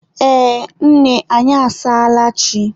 Ee, nne anyị asaala chi.